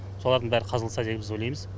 солардың бәрі қазылса деп біз ойлаймыз